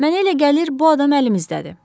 Mənə elə gəlir, bu adam əlimizdədir.